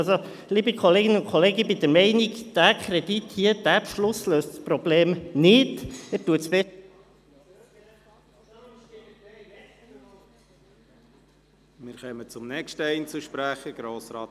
Also, liebe Kolleginnen und Kollegen, ich bin der Meinung, dieser Kredit hier, dieser Beschluss löse das Problem nicht.